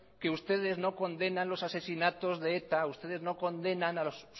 que ustedes no condenan los asesinatos de eta ustedes no condenan a